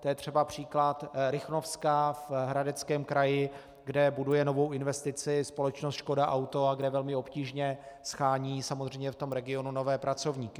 To je třeba příklad Rychnovska v Hradeckém kraji, kde buduje novou investici společnost Škoda Auto a kde velmi obtížně shánějí samozřejmě v tom regionu nové pracovníky.